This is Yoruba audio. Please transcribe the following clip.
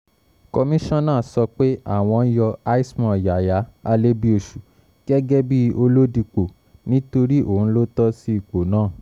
komisanna sọ pé àwọn yan i small yàyà alébíoṣù gẹ́gẹ́ bíi olódipó nítorí òun ló tọ́ sí ipò náà